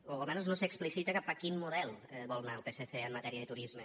o almenys no s’explicita cap a quin model vol anar el psc en matèria de turisme